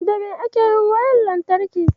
Da me ake yin wayar lantarki?